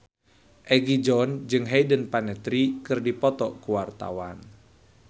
Egi John jeung Hayden Panettiere keur dipoto ku wartawan